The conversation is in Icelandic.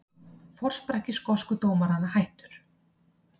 Forsprakki skosku dómaranna hættur